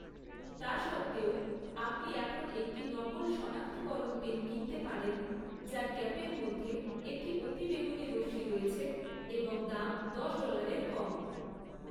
তা সত্ত্বেও, আপনি এখন একটি নকল শনাক্তকরণ পেন কিনতে পারেন যার ক্যাপের মধ্যে একটি অতিবেগুনি রশ্মি রয়েছে এবং দাম দশ ডলারের কম ৷